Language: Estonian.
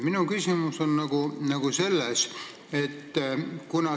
Minu küsimus on selline.